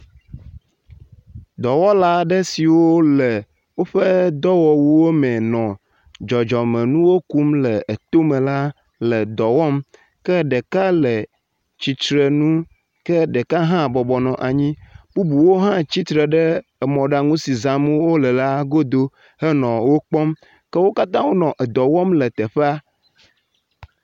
Dwɔwla ɖe siwo le woƒe dɔwɔwuwo me nɔ dzɔdzɔmenuwo kum le tome la le dɔwɔm ke ɖeka le tsitrenu ke ɖeka hã bɔbɔ nɔ anyi bubuwo hã tsitre ɖe mɔɖaŋu si zam wole la godo henɔ wo kpɔm, ke wo katã wonɔ edɔ wɔm le teƒea